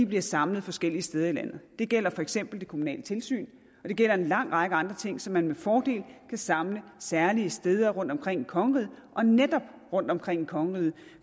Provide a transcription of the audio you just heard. bliver samlet forskellige steder i landet det gælder for eksempel det kommunale tilsyn og det gælder en lang række andre ting som man med fordel kan samle særlige steder rundtomkring i kongeriget og netop rundtomkring i kongeriget